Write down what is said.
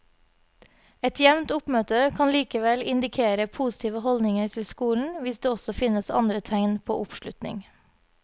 Et jevnt oppmøte kan likevel indikere positive holdninger til skolen hvis det også finnes andre tegn på oppslutning.